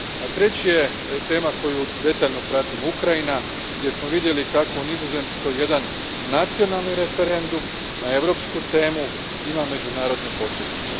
A treće je tema koju detaljno pratimo, Ukrajina, gdje smo vidjeli kako u Nizozemskoj jedan nacionalni referendum na europsku temu ima međunarodne posljedice.